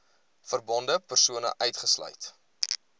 verbonde persone uitgesluit